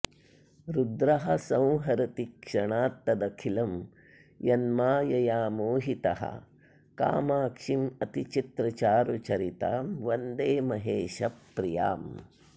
रुद्रः संहरति क्षणात् तद् अखिलं यन्मायया मोहितः कामाक्षीं अतिचित्रचारुचरितां वन्दे महेशप्रियाम्